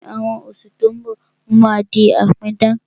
Ní àwọn oṣù tí ó ń bọ̀, mo máa di apidán